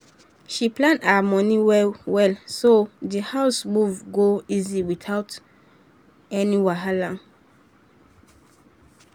she plan her money well so the house move go easy without any wahala.